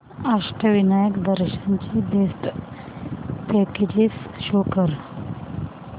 अष्टविनायक दर्शन ची best packages show कर